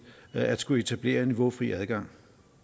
at skulle etablere niveaufri adgang